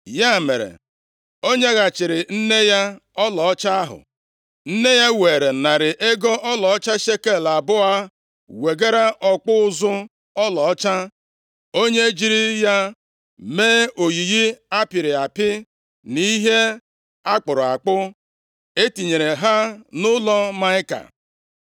Ya mere, o nyeghachiri nne ya ọlaọcha ahụ, Nne ya weere narị ego ọlaọcha shekel abụọ wegara ọkpụ ụzụ ọlaọcha, onye jiri ya mee oyiyi a pịrị apị na ihe a kpụrụ akpụ. E tinyere ha nʼụlọ Maịka.